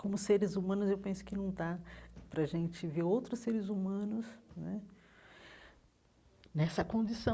Como seres humanos, eu penso que não está para a gente ver outros seres humanos né nessa condição.